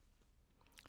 DR2